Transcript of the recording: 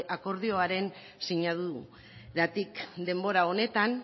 akordioaren sinaduratik denbora honetan